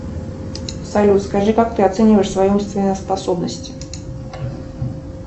салют скажи как ты оцениваешь свои умственные способности